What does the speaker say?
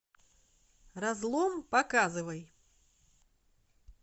разлом показывай